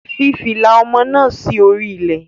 Fi fìlà ọmọ náà sí orí ilẹ̀.